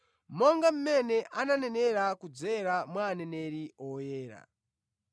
(Monga mmene ananenera kudzera mwa aneneri oyera),